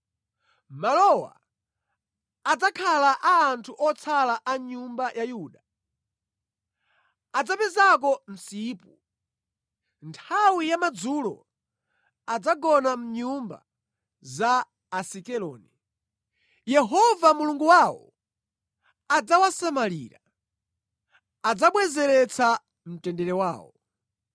Malowa adzakhala a anthu otsala a nyumba ya Yuda; adzapezako msipu. Nthawi ya madzulo adzagona mʼnyumba za Asikeloni. Yehova Mulungu wawo adzawasamalira; adzabwezeretsa mtendere wawo.